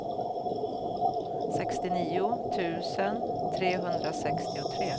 sextionio tusen trehundrasextiotre